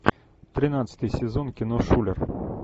тринадцатый сезон кино шулер